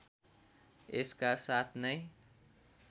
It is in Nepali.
यसका साथ नै